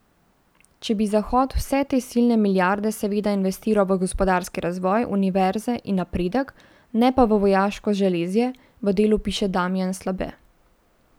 Če bi Zahod vse te silne milijarde seveda investiral v gospodarski razvoj, univerze in napredek, ne pa v vojaško železje, v Delu piše Damijan Slabe.